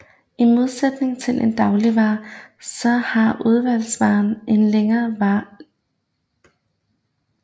I modsætning til en dagligvare så har udvalgsvaren en længere levetid